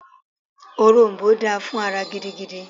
Òrom̀bó dáa fún ara gidigidi